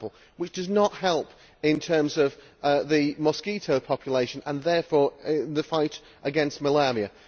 which does not help in terms of the mosquito population or, therefore, the fight against malaria.